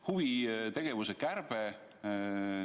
Huvitegevuse kärbe.